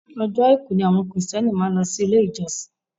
Ọjọ́ àìkú ni àwọn kìrìtíẹ́nì máa ń lọ sí ilé-ìjọsìn